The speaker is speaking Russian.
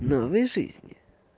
новый жизни